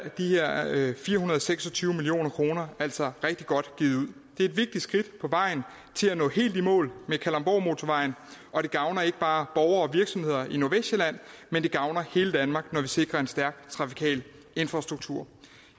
fire hundrede og seks og tyve million kroner er altså rigtig godt givet ud det er et vigtigt skridt på vejen til at nå helt i mål med kalundborgmotorvejen og det gavner ikke bare og virksomheder i nordvestsjælland men det gavner hele danmark når vi sikrer en stærk trafikal infrastruktur